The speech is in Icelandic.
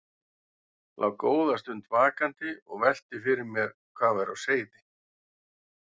Lá góða stund vakandi og velti fyrir mér hvað væri á seyði.